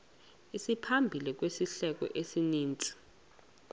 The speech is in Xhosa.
isimaphambili sehlelo kwisininzi